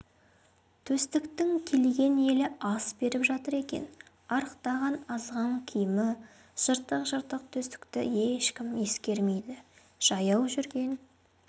төстіктің келген елі ас беріп жатыр екен арықтаған азған киімі жыртық-жыртық төстікті ешкім ескермейді жаяу жүрген